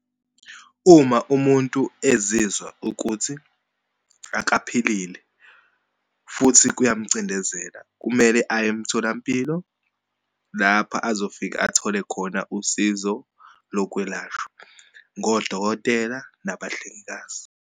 Uma umuntu ezizwa ukuthi akaphilile futhi kuyamcindezela, kumele aye emtholampilo lapha azofika athole khona usizo lokwelashwa ngodokotela nabahlengikazi.